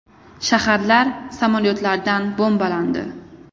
Shaharlar samolyotlardan bombalandi.